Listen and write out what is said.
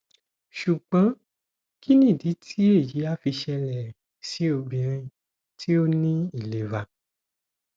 sugbon kini idi ti eyi a fi sele si obinrin ti o ni ilera